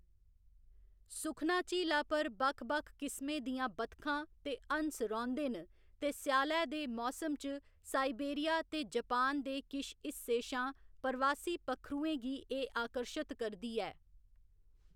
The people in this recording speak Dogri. सुखना झीला पर बक्ख बक्ख किसमें दियां बतखां ते हंस रौंह्‌‌‌दे न ते स्यालै दे मौसम च साइबेरिया ते जापान दे किश हिस्सें शा परवासी पक्खरुएं गी एह्‌‌ आकर्शत करदी ऐ।